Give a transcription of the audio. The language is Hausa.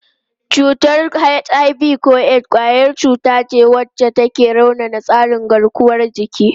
Cutar HIV/AIDS kwayar cuta wacce ke raunana tsarin garkuwar jiki.